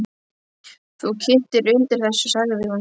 Þú kyntir undir þessu, sagði hún.